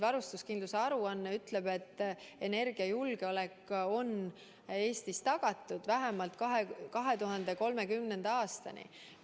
See aruanne ütleb, et energiajulgeolek on Eestis tagatud vähemalt 2030. aastani.